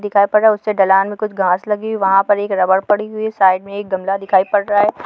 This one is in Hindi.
दिखाई पड़ रहा है उससे ढलान में कुछ घास लगी हुई है वहॉं पर एक रबर पड़ी हुई है साइड में एक गमला दिखाई पड़ रहा है।